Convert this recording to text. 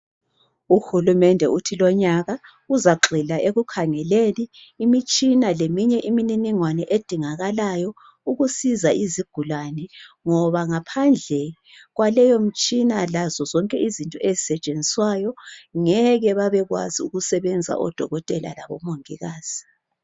UHulumende uthi lonyaka uzagxila ekukhangeleni imitshina leminye imininingwane edingakalayo ukusiza izigulane ngoba ngaphandle kwaleyomtshina lazo zonke izinto ezisetshenziswayo ngeke babekwazi ukusebenza oDokotela labomongikazi.